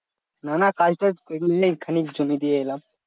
না না কাজ টাজ নেই খানিক জমি দিয়ে এলাম